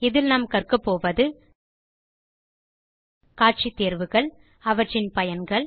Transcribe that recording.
இதில் நாம் கற்கப்போவது காட்சி தேர்வுகள் அவற்றின் பயன்கள்